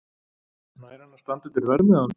Nær hann að standa undir verðmiðanum?